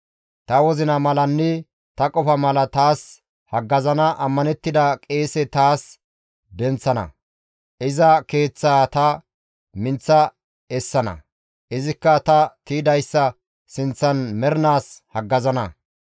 Ta wozina malanne ta qofa mala taas haggazana ammanettida qeese tani taas denththana; iza keeththaa ta minththa essana; izikka ta tiydayssa sinththan mernaas haggazana.